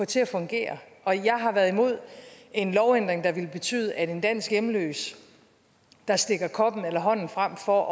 til at fungere og jeg har været imod en lovændring der ville betyde at en dansk hjemløs der stikker koppen eller hånden frem for